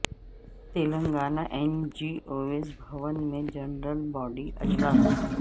Telangana N G Os Bhavan میں general body اجلاس